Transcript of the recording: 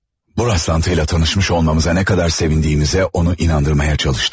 Bu rastlantıyla tanışmış olmamıza nə qədər sevindiyimizə onu inandırmağa çalışdım.